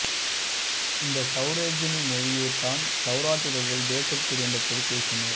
இந்த சௌரஸெனி மொழியைத் தான் சௌராட்டிரர்கள் தேசத்தில் இருந்தபோது பேசினர்